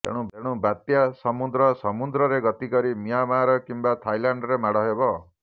ତେଣୁ ବାତ୍ୟା ସମୁଦ୍ର ସମୁଦ୍ରରେ ଗତି କରି ମିଆଁମାର କିମ୍ବା ଥାଇଲାଣ୍ଡରେ ମାଡ଼ ହେବ